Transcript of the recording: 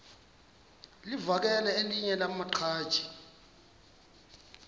livakele elinye lamaqhaji